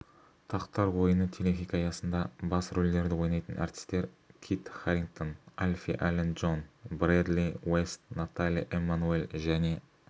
тақтар ойыны телехикаясында бас рөлдерді ойнайтын әртістер кит харингтон алфи аллен джон брэдли-уэст натали эммануэль және